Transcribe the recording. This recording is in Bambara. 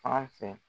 Fan fɛ